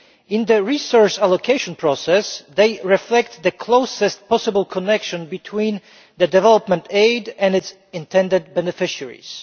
In the resource allocation process they reflect the closest possible connection between development aid and its intended beneficiaries.